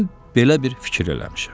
Mən belə bir fikir eləmişəm.